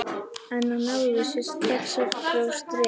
En hann náði sér strax aftur á strik.